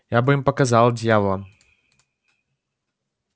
я бы им показал дьяволам